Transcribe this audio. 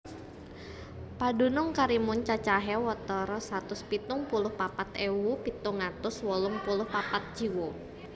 Padunung Karimun cacahé watara satus pitung puluh papat ewu pitung atus wolung puluh papat jiwa